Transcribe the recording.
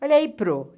Olha aí prô.